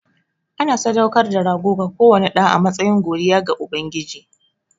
Ana sadaukar da rago ga kowane ɗa a matsayin godiya ga Ubangiji.